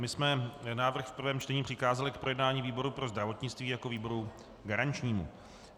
My jsme návrh v prvém čtení přikázali k projednání výboru pro zdravotnictví jako výboru garančnímu.